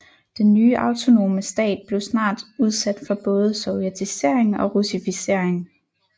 Den nye autonome stat blev snart udsat for både sovjetisering og russificering